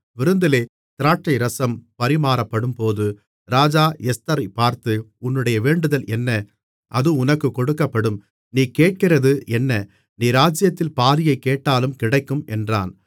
விருந்திலே திராட்சைரசம் பரிமாறப்படும்போது ராஜா எஸ்தரைப் பார்த்து உன்னுடைய வேண்டுதல் என்ன அது உனக்குக் கொடுக்கப்படும் நீ கேட்கிறது என்ன நீ ராஜ்ஜியத்தில் பாதியைக் கேட்டாலும் கிடைக்கும் என்றான்